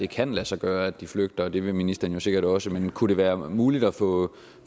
kan lade sig gøre at de flygter og det vil ministeren jo sikkert også men kunne det være muligt at få